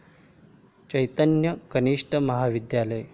चैतन्य कनिष्ठ महाविद्यालय